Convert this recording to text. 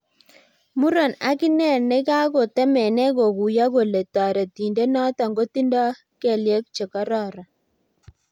muron akenye neikakotemenee kakuiyo kole taretindet noto kotinda kelyet chekararan